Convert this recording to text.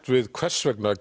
við hvers vegna